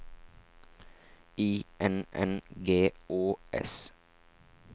I N N G Å S